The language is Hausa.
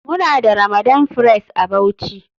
Muna da ramadan fress a bauchi.